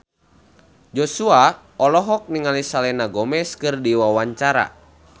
Joshua olohok ningali Selena Gomez keur diwawancara